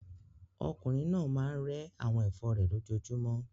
Okùnrin náà máa ń rẹ́ àwọn ẹ̀fọ́ rẹ̀ lójoojúmọ́.